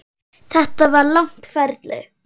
Þetta var langt ferli.